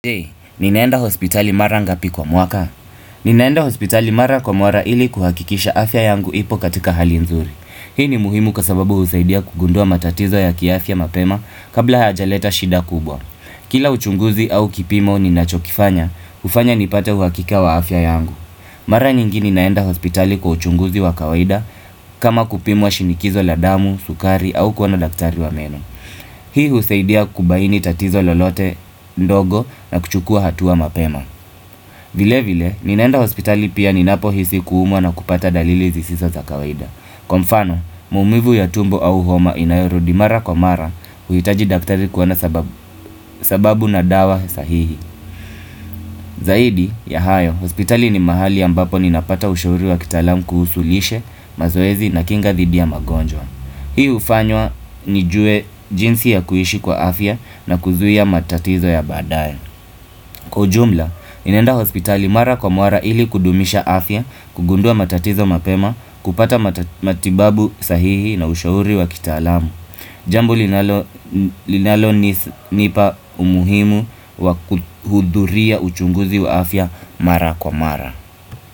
Je, ninaenda hospitali mara ngapi kwa mwaka? Ninaenda hospitali mara kwa mwara ili kuhakikisha afya yangu ipo katika hali nzuri. Hii ni muhimu kwa sababu husaidia kugundua matatizo ya kiafya mapema kabla hayaja leta shida kubwa. Kila uchunguzi au kipimo ninachokifanya, hufanya nipate uhakika wa afya yangu. Mara nyingi ninaenda hospitali kwa uchunguzi wa kawaida kama kupimwa shinikizo la damu, sukari au kuona daktari wa meno. Hii husaidia kubaini tatizo lolote ndogo na kuchukua hatua mapema vile vile, ninaenda hospitali pia ninapo hisi kuumwa na kupata dalili zisizo za kawaida Kwa mfano, maumivu ya tumbo au homa inayorudi mara kwa mara huhitaji daktari kuona sababu na dawa sahihi Zaidi, ya hayo, hospitali ni mahali ambapo ninapata ushauri wa kitaalam kuhusu lishe mazoezi na kinga thidia magonjo Hii hufanywa nijue jinsi ya kuhishi kwa afya na kuzuia matatizo ya badaye. Kwa ujumla, ninaenda hospitali mara kwa mara ili kudumisha afya, kugundua matatizo mapema, kupata matibabu sahihi na ushauri wakitaalamu. Jambo linalonipa umuhimu wa kuhudhuria uchunguzi wa afya mara kwa mara.